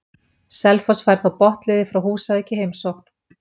Selfoss fær þá botnliðið frá Húsavík í heimsókn.